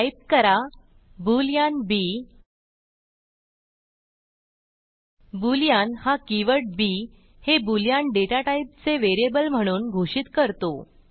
type करा boolean b boolean हा कीवर्डb हे बोलियन डेटा टाईपचे व्हेरिएबल म्हणून घोषित करतो